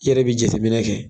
I yɛrɛ be jatemnɛ kɛ